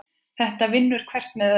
Þetta vinnur hvert með öðru.